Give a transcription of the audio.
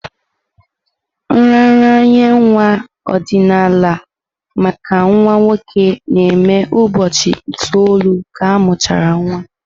Nraranye nwa ọdịnala maka nwa nwoke na-eme ụbọchị itoolu ka amuchara nwa.